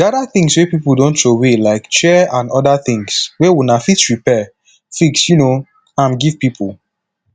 gather things wey pipo don trowey like chair and oda thing wey una fit repair fix um am give pipo